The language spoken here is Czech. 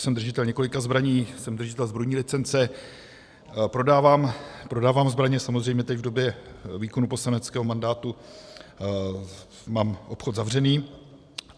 Jsem držitel několika zbraní, jsem držitel zbrojní licence, prodávám zbraně, samozřejmě teď v době výkonu poslaneckého mandátu mám obchod zavřený.